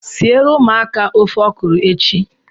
Sie ru ụmụaka ofe ọkrọ echi